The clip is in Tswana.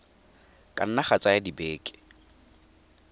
ka nna ga tsaya dibeke